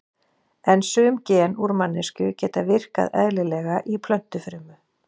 En sum gen úr manneskju geta virkað eðlilega í plöntufrumu.